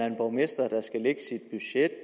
en borgmester